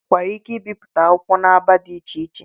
E nwekwara ike ibipụta akwụkwọ n'agba dị iche iche.